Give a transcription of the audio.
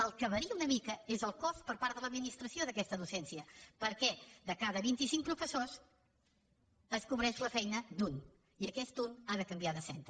el que varia una mica és el cost per part de l’administració d’aquesta docència perquè de cada vint i cinc professors es cobreix la feina d’un i aquest un ha de canviar de centre